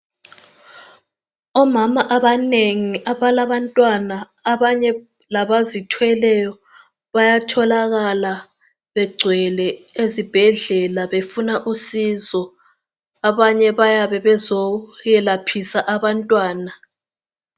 Omama abanengi abalabantwana abanye labazithweleyo bayatholakala begcwele ezibhedlela befuna usizo. Abanye bayabe bezoyelaphisa abantwana.